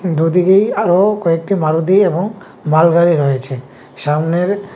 দুদিকেই আরো কয়েকটি মারুতি এবং মালগাড়ি রয়েছে সামনের--